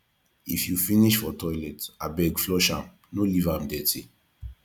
if you finish for toilet abeg flush am no leave am dirty